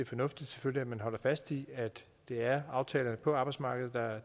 fornuftigt at man holder fast i at det er aftaler på arbejdsmarkedet der er